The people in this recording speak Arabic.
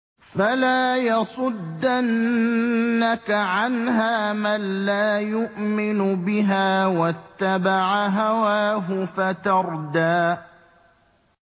فَلَا يَصُدَّنَّكَ عَنْهَا مَن لَّا يُؤْمِنُ بِهَا وَاتَّبَعَ هَوَاهُ فَتَرْدَىٰ